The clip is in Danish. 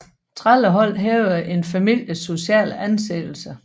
Trællehold hævede en families sociale anseelse